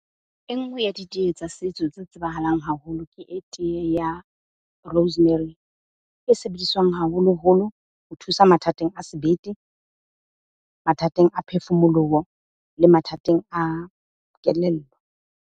E nngwe ya diteye tsa setso tse tsebahalang haholo, ke teye ya rosemary. E sebediswang haholoholo ho thusa mathateng a sebete, mathateng a phefumoloho le mathateng a kelello.